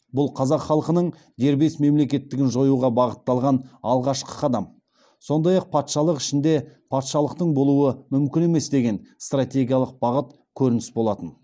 бұл қазақ халқының дербес мемлекеттігін жоюға бағытталған алғашқы қадам сондай ақ патшалық ішінде патшалықтың болуы мүмкін емес деген стратегиялық бағыт көрініс болатын